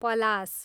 पलास